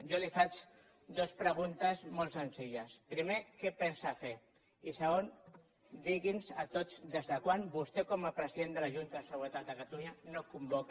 jo li faig dues preguntes molt senzilles primer què pensa fer i segon digui’ns a tots des de quan vostè com a president de la junta de seguretat de catalunya no convoca